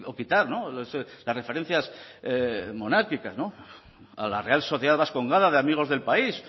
quitar las referencias monárquicas a la real sociedad vascongada de amigos del país